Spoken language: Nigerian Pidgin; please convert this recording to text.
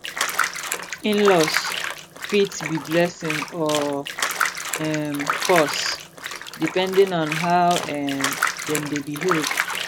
inlaws fit be blessing or um curse depending on how um dem dey behave